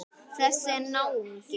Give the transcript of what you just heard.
Þessi náungi.